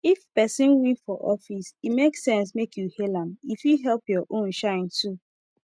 if person win for office e make sense make you hail am e fit help your own shine too